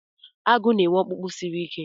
Agụ na-enwe ọkpụkpụ siri ajọ ike.